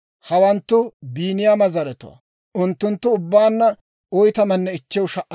Hawanttu Biiniyaama zaratuwaa; unttunttu ubbaanna 45,600.